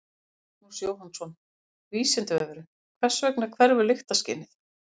Magnús Jóhannsson: Vísindavefurinn: Hvers vegna hverfur lyktarskynið?